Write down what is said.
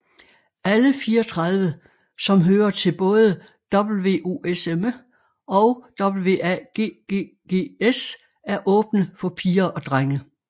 Alle 34 som hører til både WOSM og WAGGGS er åbne for piger og drenge